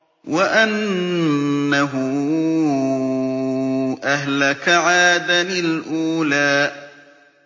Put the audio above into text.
وَأَنَّهُ أَهْلَكَ عَادًا الْأُولَىٰ